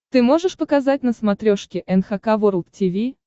ты можешь показать на смотрешке эн эйч кей волд ти ви